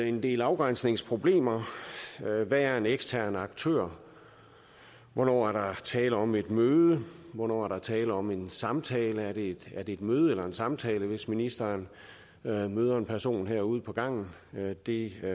en del afgrænsningsproblemer hvad er en ekstern aktør hvornår er der tale om et møde hvornår er der tale om en samtale er det et møde eller en samtale hvis ministeren møder møder en person herude på gangen det